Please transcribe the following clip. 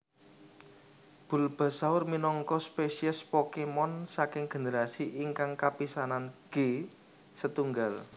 Bulbasaur minangka spesies Pokémon saking generasi ingkang kapisanan G setunggal